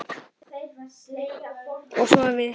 Og svo við hin.